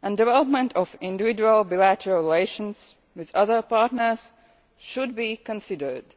and development of individual bilateral relations with other partners should be considered.